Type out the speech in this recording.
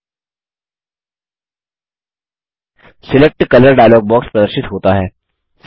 select colour dialog box प्रदर्शित होता है